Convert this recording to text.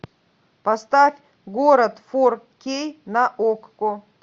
поставь город фор кей на окко